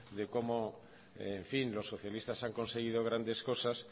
de cómo en fin los socialistas han conseguido grandes cosas